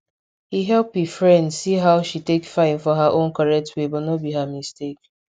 he help e friend see how she take fine for her own correct way no be her mistakes